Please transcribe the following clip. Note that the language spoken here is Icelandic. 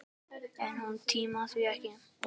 En hún tímir því ekki!